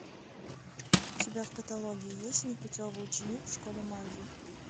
у тебя в каталоге есть непутевый ученик в школе магии